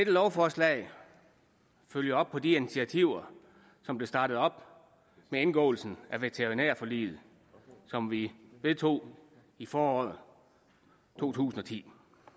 lovforslag følger op på de initiativer som blev startet op med indgåelsen af veterinærforliget som vi vedtog i foråret to tusind og ti